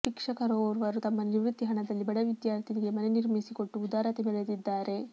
ಶಿಕ್ಷಕರೋರ್ವರು ತಮ್ಮ ನಿವೃತ್ತಿ ಹಣದಲ್ಲಿ ಬಡ ವಿದ್ಯಾರ್ಥಿನಿಗೆ ಮನೆ ನಿರ್ಮಿಸಿಕೊಟ್ಟು ಉದಾರತೆ ಮೆರೆದಿದ್ದಾರೆ